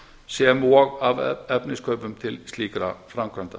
sem og af efniskaupum til slíkra framkvæmda